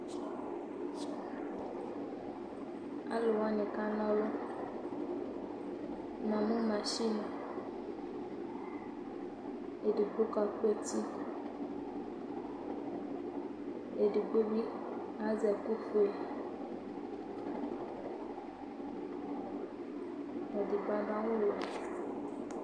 Aalʋwani kanɔlu Namu machin eɖigbo ka ku ɛti, ɛɖigbobbi azɛ ɛku fue Ɛɖigbo aɖʋ awʋ wuɛ